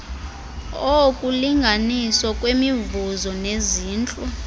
okulinganiswa kwemivuzo nezintlu